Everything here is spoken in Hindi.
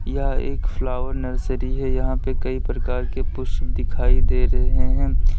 यह एक फ्लावर नर्सरी है यहां पे कई प्रकार के पुष्प दिखाई दे रहे हैं।